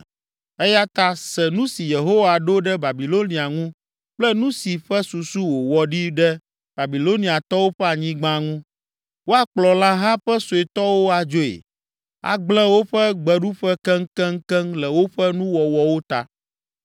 Eya ta se nu si Yehowa ɖo ɖe Babilonia ŋu kple nu si ƒe susu wòwɔ ɖi ɖe Babiloniatɔwo ƒe anyigba ŋu: Woakplɔ lãha ƒe suetɔwo adzoe, agblẽ woƒe gbeɖuƒe keŋkeŋkeŋ le woƒe nuwɔwɔwo ta.